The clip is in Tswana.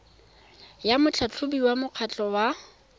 ya motlhatlhobiwa wa mokgatlho wa